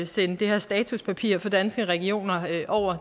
sende det her statuspapir fra danske regioner over